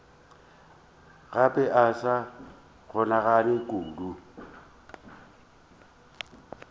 gape ba sa kganyogana kudu